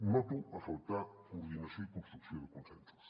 noto a faltar coordinació i construcció de consensos